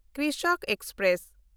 Krishak express